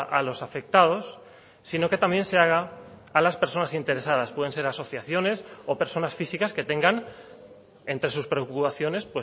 a los afectados sino que también se haga a las personas interesadas pueden ser asociaciones o personas físicas que tengan entre sus preocupaciones